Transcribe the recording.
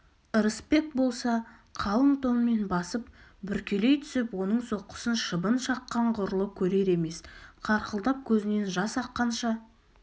ырысбек болса қалың тонмен басып бүркелей түсіп оның соққысын шыбын шаққан ғұрлы көрер емес қарқылдап көзінен жас аққанша